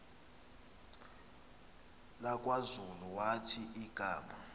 lakwazulu wathi igama